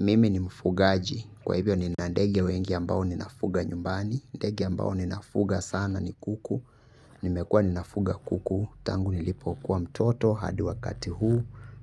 Mimi ni mfugaaji. Kwa hivyo ni nandege wengi ambao ninafuga nyumbani. Ndegea ambao ninafuga sana ni kuku. Nimekua ninafuga kuku. Tangu nilipo kuwa mtoto. Hadi wakati huu.